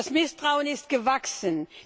Das Misstrauen ist gewachsen.